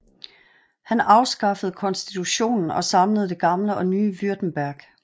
Han afskaffede konstitutionen og samlede det gamle og nye Württemberg